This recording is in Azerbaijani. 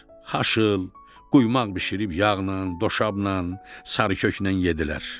Xaşıl, quymaq bişirib yağnan, doşabnan, sarıköknən yeddilər.